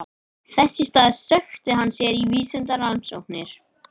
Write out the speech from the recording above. Þess í stað sökkti hann sér niður í vísindarannsóknir.